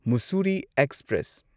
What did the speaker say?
Mussoorie express